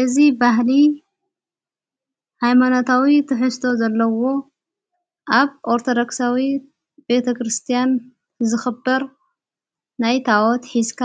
እዝ ባህሊ ኃይማናታዊ ትሕዝቶ ዘለዎ ኣብ ኦርቶዶክሳዊ ቤተ ክርስቲያን ዝኽበር ናይ ታዖት ሕዝካ